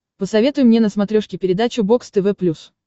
посоветуй мне на смотрешке передачу бокс тв плюс